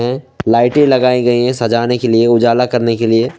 लाइटें लगाई गई है सजाने के लिए उजाला करने के लिए।